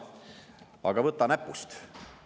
Aga võta näpust!